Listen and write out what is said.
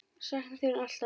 Sakna þín alltaf.